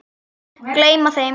Gleyma þeim.